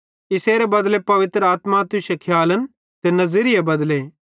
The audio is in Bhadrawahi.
इसेरे बदले पवित्र आत्मा तुश्शे खियालन ते नज़िरियो बदले